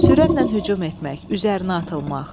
Sürətlə hücum etmək, üzərinə atılmaq.